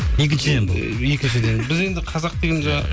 екіншіден бұл екіншіден біз енді қазақ деген жаңа